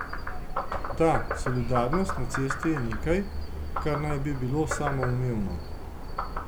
Da, solidarnost na cesti je nekaj, kar naj bi bilo samoumevno.